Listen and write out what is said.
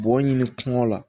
Bɔgɔ ɲini kungo la